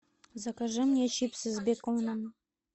закажи мне чипсы с беконом